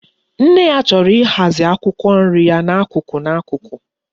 Nne ya choro ihazi akwukwo nri ya na akuku na akuku